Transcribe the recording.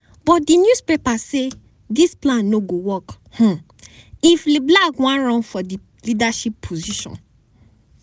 but di newspaper say dis plan no go work um if leblanc wan run for di leadership position.